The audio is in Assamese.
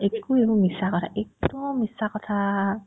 একো এইবোৰ মিছা কথা একদম মিছা কথা